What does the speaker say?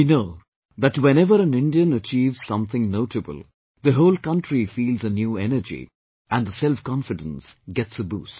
We know that whenever an Indian achieves something notable, the whole country feels a new energy and the selfconfidence gets a boost